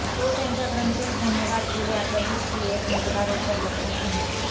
तो त्यांच्या ग्रंथी धन्यवाद किडे आकर्षित की एक मजेदार अत्तर लपवून आहे